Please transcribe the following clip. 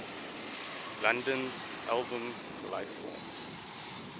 london's album lifeforms